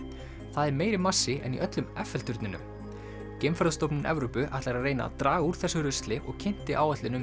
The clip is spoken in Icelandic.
það er meiri massi en í öllum Eiffel turninum Evrópu ætlar að reyna að draga úr þessu rusli og kynnti áætlun um